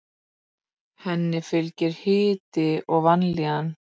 Henni fylgir hiti og vanlíðan.